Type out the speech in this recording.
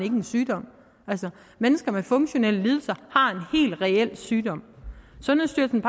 en sygdom altså mennesker med funktionelle lidelser har en helt reel sygdom sundhedsstyrelsen